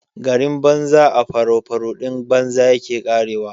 Garin banza a faraufaruɗin banza yake ƙarewa.